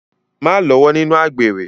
Má lọ́wọ́ nínú àgbèrè.